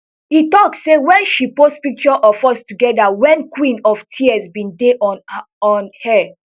e tok say wen she post picture of us togeda wen queen of tears bin dey on on air